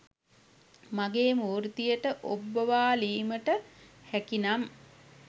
මගේ මූර්තියට ඔබ්බවාලීමට හැකිනම්